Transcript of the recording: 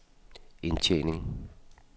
indtjening